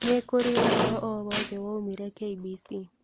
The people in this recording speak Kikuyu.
Nĩ kũrĩ ũhoro ũngĩ o wothe woimire k. b.c.